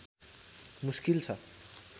मुस्किल छ